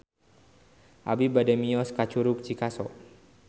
Abi bade mios ka Curug Cikaso